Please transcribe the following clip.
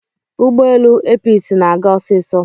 ụgbọelu Episi na-aga osiso